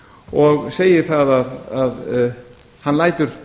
og segir það að hann lætur